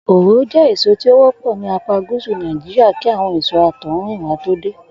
Òro jé èso tí ó wó̩pò̩ ní apá gúsù Nàìjíríà kí àwo̩n èso àtò̩húnrìnwá tó dé